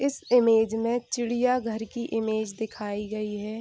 इस इमेज में चिड़ियाघर की इमेज दिखाई गई है।